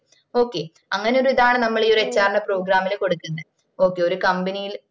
okay അങ്ങനെ ഒര് ഇതാണ്‌ നമ്മള് ഈ ഒര് HR ന്റെ program ഇൽ കൊടുക്കുന്നേ ഒരു company ല്